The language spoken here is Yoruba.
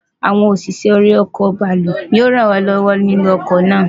Awon osise̩ ori o̩kò̩ bàálù yío ràn é ló̩wó̩ nínú o̩kò̩ náà.